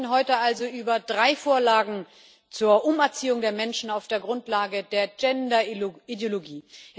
Wir sprechen heute also über drei Vorlagen zur Umerziehung der Menschen auf der Grundlage der Gender Ideologie.